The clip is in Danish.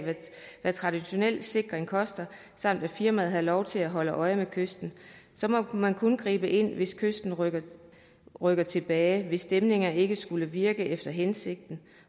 hvad traditionel sikring koster samt at firmaet havde lov til at holde øje med kysten må man kun gribe ind hvis kysten rykker rykker tilbage hvis dæmninger ikke skulle virke efter hensigten